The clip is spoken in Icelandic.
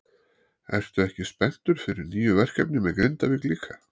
Ertu ekki spenntur fyrir nýju verkefni með Grindavík líka?